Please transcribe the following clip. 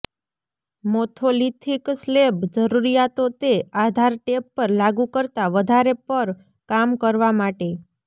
મોથોલિથીક slab જરૂરીયાતો તે આધાર ટેપ પર લાગુ કરતાં વધારે પર કામ કરવા માટે